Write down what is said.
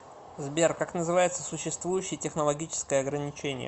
сбер как называется существующее технологическое ограничение